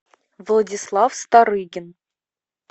владислав старыгин